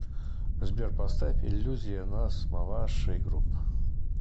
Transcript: сбер поставь иллюзия нас маваши груп